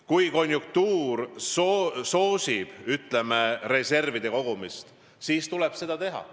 Kui konjunktuur soosib, ütleme, reservide kogumist, siis tuleb seda teha.